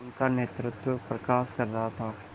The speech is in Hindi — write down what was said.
उनका नेतृत्व प्रकाश कर रहा था